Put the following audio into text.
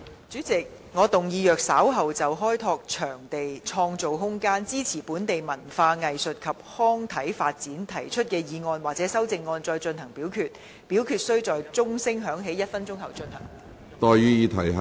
主席，我動議若稍後就"開拓場地，創造空間，支持本地文化藝術及康體發展"所提出的議案或修正案再進行點名表決，表決須在鐘聲響起1分鐘後進行。